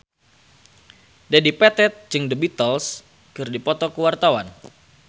Dedi Petet jeung The Beatles keur dipoto ku wartawan